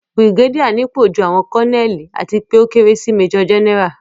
Bìrìgédíà nípò ju àwọn Kọ́nẹ́ẹ̀lì àti pé ó kéré sí mẹ́jọ̀ Jẹ́nẹ́rà